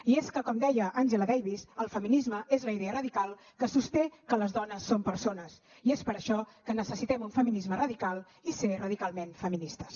i és que com deia angela davis el feminisme és la idea radical que sosté que les dones som persones i és per això que necessitem un feminisme radical i ser radicalment feministes